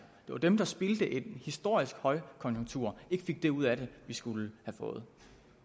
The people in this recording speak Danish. det var dem der spildte en historisk højkonjunktur ikke fik det ud af det vi skulle have fået